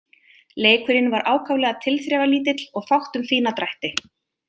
Leikurinn var ákaflega tilþrifalítill og fátt um fína drætti.